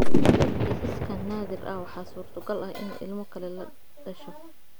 Kiisaskan naadir ah, waxaa suurtogal ah in ilmo kale la dhasho.